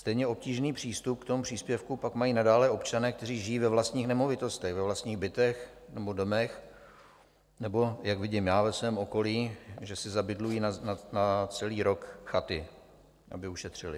Stejně obtížný přístup k tomu příspěvku pak mají nadále občané, kteří žijí ve vlastních nemovitostech, ve vlastních bytech nebo domech nebo, jak vidím já ve svém okolí, že si zabydlují na celý rok chaty, aby ušetřili.